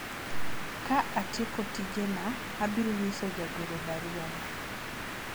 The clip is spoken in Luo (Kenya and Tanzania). ka atieko tije na , abiro nyiso jagoro barua no